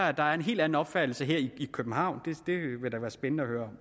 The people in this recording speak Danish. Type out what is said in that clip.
at der er en helt anden opfattelse her i københavn det ville da være spændende at høre